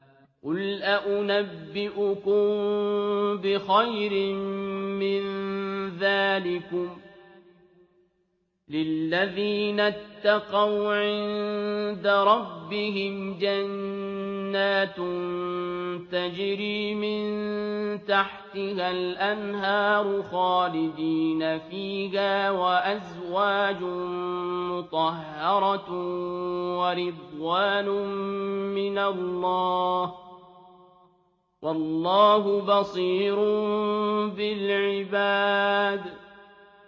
۞ قُلْ أَؤُنَبِّئُكُم بِخَيْرٍ مِّن ذَٰلِكُمْ ۚ لِلَّذِينَ اتَّقَوْا عِندَ رَبِّهِمْ جَنَّاتٌ تَجْرِي مِن تَحْتِهَا الْأَنْهَارُ خَالِدِينَ فِيهَا وَأَزْوَاجٌ مُّطَهَّرَةٌ وَرِضْوَانٌ مِّنَ اللَّهِ ۗ وَاللَّهُ بَصِيرٌ بِالْعِبَادِ